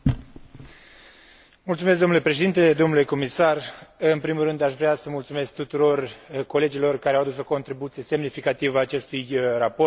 În primul rând, aș vrea să mulțumesc tuturor colegilor care au adus o contribuție semnificativă acestui raport și, în final, politicii de coeziune și viitorului acesteia.